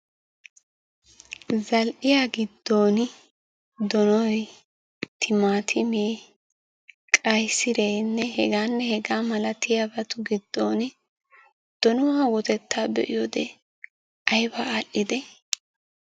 Zal"iya giddon donoy, timaatimee, qayisireenne hegaanne hegaa malatiyabatu giddooni donuwa wotettaa be'iyode ayiba al"idee?